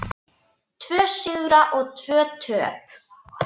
Tvo sigra og tvö töp.